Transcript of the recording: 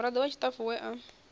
murado wa tshitafu we a